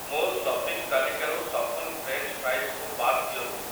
ମୋ ସପିଂ ତାଲିକାରୁ ସଫଲ ଫ୍ରେଞ୍ଚ୍ ଫ୍ରାଇଜ୍ କୁ ବାଦ୍ ଦିଅନ୍ତୁ ।